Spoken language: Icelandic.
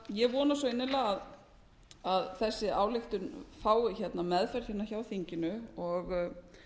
ég vona svo innilega að þessi ályktun fái meðferð hjá þinginu og